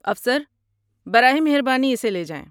افسر، براہ مہربانی اسے لے جائیں۔